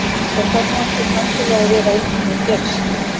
Það þarf nú ekkert endilega að vera að eitthvað hafi gerst.